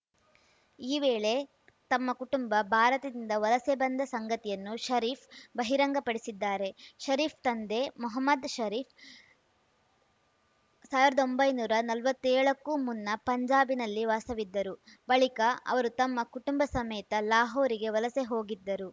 ಈ ವೇಳೆ ತಮ್ಮ ಕುಟುಂಬ ಭಾರತದಿಂದ ವಲಸೆ ಬಂದ ಸಂಗತಿಯನ್ನು ಷರೀಫ್‌ ಬಹಿರಂಗ ಪಡಿಸಿದ್ದಾರೆ ಷರೀಫ್‌ ತಂದೆ ಮೊಹಮ್ಮದ್‌ ಷರೀಫ್‌ ಸಾವಿರದ ಒಂಬೈನೂರ ನಲ್ವತ್ತೇಳಕ್ಕೂ ಮುನ್ನ ಪಂಜಾಬಿನಲ್ಲಿ ವಾಸವಿದ್ದರು ಬಳಿಕ ಅವರು ತಮ್ಮ ಕುಟುಂಬ ಸಮೇತ ಲಾಹೋರಿಗೆ ವಲಸೆ ಹೋಗಿದ್ದರು